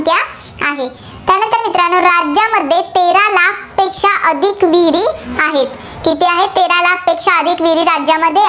आहेत. किती आहेत, तेरा लाखपेक्षा अधिक विहिरी राज्यामध्ये